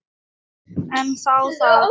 En þá það.